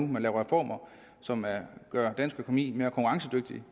man laver reformer som gør dansk økonomi mere konkurrencedygtig